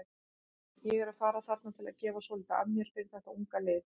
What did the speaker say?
Ég er að fara þarna til að gefa svolítið af mér fyrir þetta unga lið.